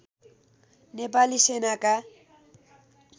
नेपाली सेनाका